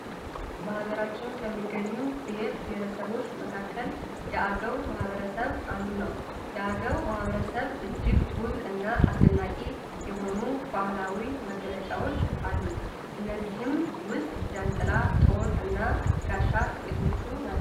በሀገራችን ከሚገኙ ብሄር ብሄረሰቦች መካከል የአገው ማህበረሰብ አንዱ ነው። የአገው ማህበረሰብ እጅግ ውብ እና አስደናቂ የሆኑ ባህላዊ መገለጫዎች አሉት ከእነዚህም ውስጥ ጃን ጥላ፣ ጦር እና ጋሻ ጥቂቶቹ ናቹ።